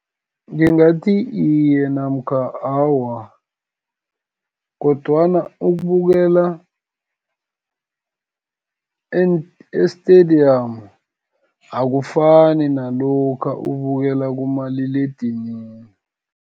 Ngingathi iye, namkha awa, kodwana ukubukela e-stadium, akufani nalokha ubukela kumaliledinini.